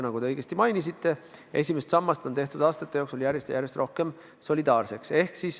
Nagu te õigesti mainisite, esimest sammast on tehtud aastate jooksul järjest rohkem solidaarseks.